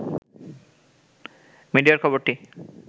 মিডিয়ায় খবরটি